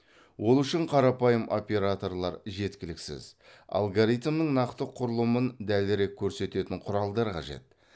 ол үшін қарапайым операторлар жеткіліксіз алгоритмнің нақты құрылымын дәлірек көрсететін құралдар қажет